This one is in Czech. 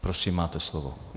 Prosím, máte slovo.